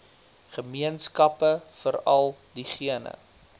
gemeenskappe veral diegene